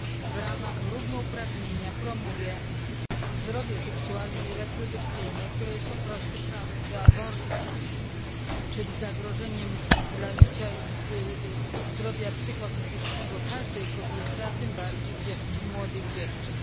w ramach równouprawnienia promuje zdrowie seksualne i reprodukcyjne, które jest po prostu prawem do aborcji, czyli zagrożeniem dla życia i zdrowia psychofizycznego każdej kobiety, a tym bardziej młodych dziewcząt.